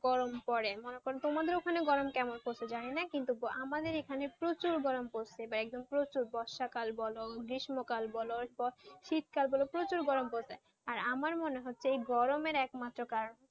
গরম পড়ে মনে করো তোমাদের ওখানে গরম কেমন পরছে জানিনা কিন্তু আমাদের এখানে প্রচুর গরম পড়েছে বর্ষাকাল বল গ্রীস্মকাল বল শীতকাল বল প্রচুর গরম পড়েছে আর আমার মনে হচ্ছে এই গরমের একমাত্র কারণ,